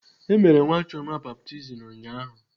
E mere nwa Chioma baptizim ụnyaahụ.